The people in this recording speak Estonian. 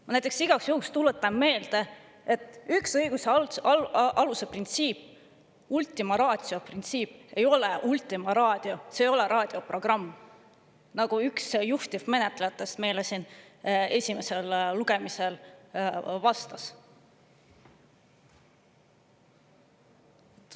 Ma igaks juhuks tuletan meelde, et üks õiguse alusprintsiipe, ultima ratio printsiip, ei ole Ultima Raadio, see ei ole raadioprogramm, nagu üks juhtivmenetlejatest meile siin esimesel lugemisel vastas.